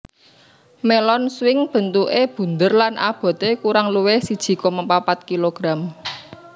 Melon swing bentuke bunder lan abote kurang luwih siji koma papat kg